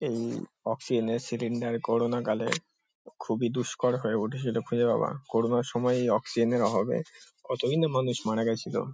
এই অক্সিজেন -এর cylinder corona কালে খুবই দুস্কর হয়ে উঠেছিল খুঁজে পাওয়া। কোরোনা -র সময় এই অক্সিজেন -এর অভাবে কতোগিনে মানুষ মারা গেছিলো।